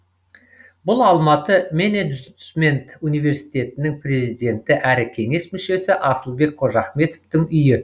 бұл алматы менеджмент университетінің президенті әрі кеңес мүшесі асылбек қожахметовтің үйі